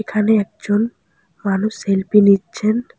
এখানে একজন মানুষ সেলফি নিচ্ছেন।